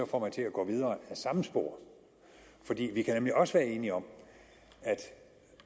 få mig til at gå videre ad samme spor for vi kan nemlig også være enige om at